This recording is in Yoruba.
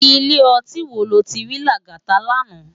Ilé òtín wó ló ti ri Lagata làná?